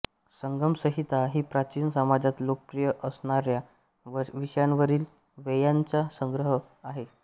संघमसंहिता ही प्राचीन समाजात लोकप्रिय असणार्या विषयांवरील वेच्यांचा संग्रह आहे